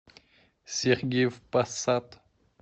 сергиев посад